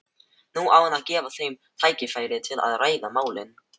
Nú á að gefa þeim tækifæri til að ræða málin.